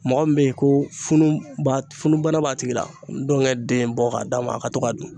Mɔgɔ min bɛ ye ko funu funu b'a bana b'a tigi la, ndɔnkɛ den bɔ ka d'a ma , a ka to k'a dun.